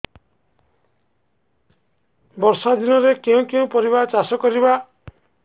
ବର୍ଷା ଦିନରେ କେଉଁ କେଉଁ ପରିବା ଚାଷ କରିବା